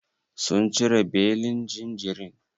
Sun cire belin jinjirin?